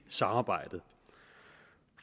samarbejdet